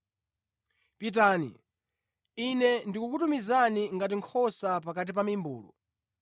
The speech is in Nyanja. Pitani! Ine ndikukutumizani ngati nkhosa pakati pa mimbulu.